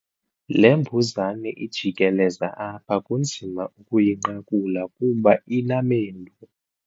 Le mbuzane ijikeleza apha kunzima ukuyinqakula kuba inamendu.